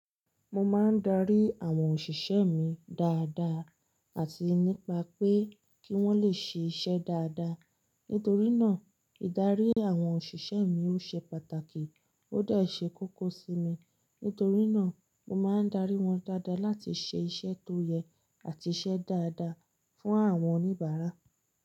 Mo máa ń darí àwọn òṣìṣẹ́ mi dáadáa àti nípa pé kí wọ́n lè ṣe iṣẹ́ dáadáa. Nítorí náà ìdarí àwọn òṣìṣẹ́ mi ó ṣe pàtàkì ó de ṣe kókó sí mi. Nítorí náà mo máa ń darí wọn dáadáa láti ṣe iṣẹ́ tó yẹ àti iṣẹ́ dáadáa fún àwọn oníbàárà.